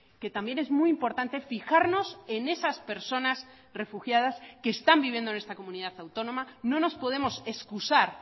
que también es muy importante fijarnos en esas personas refugiadas que están viviendo en esta comunidad autónoma no nos podemos excusar